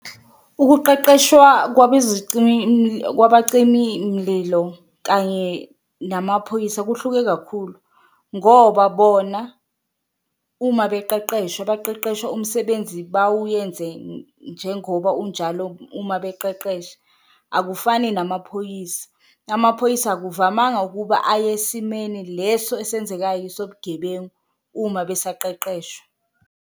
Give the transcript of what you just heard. Ukuqeqeshwa kwaba mcimi mlilo kanye namaphoyisa kuhluke kakhulu ngoba bona uma beqeqeshwa, baqeqeshwa umsebenzi bawuyenze njengoba unjalo uma beqeqesha akufani namaphoyisa. Amaphoyisa akuvamanga ukuba aye esimeni leso esenzekayo esobugebengu uma besaqeqeshwa.